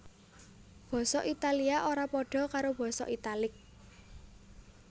Basa Italia ora padha karo basa Italik